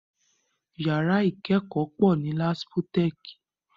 Yàrá ìkẹ́kọ̀ọ́ pọ̀ ní Laspotech